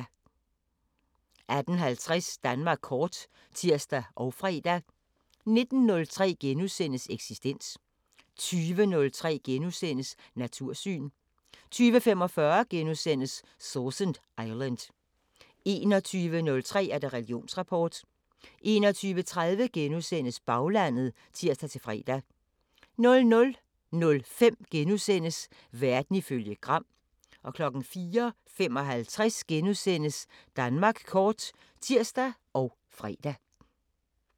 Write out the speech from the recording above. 18:50: Danmark kort (tir og fre) 19:03: Eksistens * 20:03: Natursyn * 20:45: Sausan Island * 21:03: Religionsrapport 21:30: Baglandet *(tir-fre) 00:05: Verden ifølge Gram * 04:55: Danmark kort *(tir og fre)